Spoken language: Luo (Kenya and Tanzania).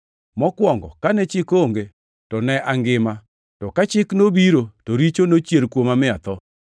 Mokwongo kane chik onge, to ne angima, to ka Chik nobiro, to richo nochier kuoma mi atho.